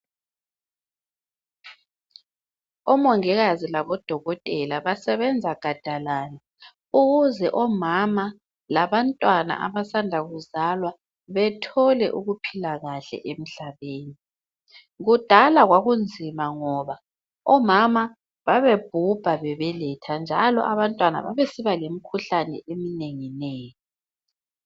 Omongikazi labodokotela basebenza gadalala ukuze omama labantwana abasanda kuzalwa bethole ukuphila kahle emhlabeni. Kudala kwakunzima ngoba omama babebhubha bebeletha njalo abantwana babesiba lemkhuhlane eminenginengi.